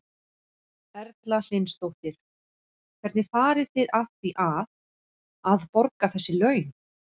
Erla Hlynsdóttir: Hvernig farið þið að því að, að borga þessi laun?